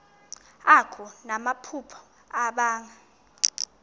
akho namaphupha abanga